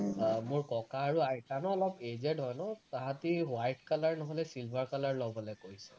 আহ মোৰ ককা আৰু আইতা ন অলপ aged হয় ন তাহাঁতি white color নহলে silver color লবলে কৈছে